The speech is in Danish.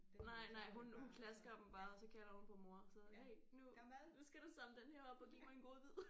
Nej nej hun hun klasker dem bare og så kalder hun på mor og så hey nu nu skal du samle den her op og give mig en godbid